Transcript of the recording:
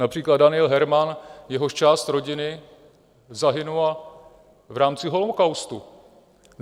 Například Daniel Herman, jehož část rodiny zahynula v rámci holokaustu.